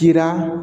Kira